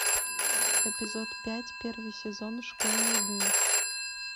эпизод пять первый сезон школьные дни